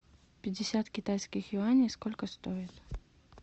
пятьдесят китайских юаней сколько стоит